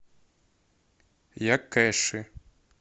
якэши